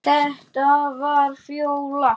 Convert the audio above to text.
Þetta var Fjóla.